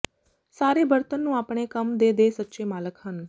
ਸਾਰੇ ਬਰਤਨ ਨੂੰ ਆਪਣੇ ਕੰਮ ਦੇ ਦੇ ਸੱਚੇ ਮਾਲਕ ਹਨ